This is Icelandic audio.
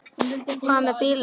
Hvað með bílinn hennar?